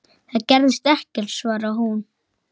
Það gerðist ekkert, svaraði hún.